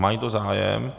Má někdo zájem?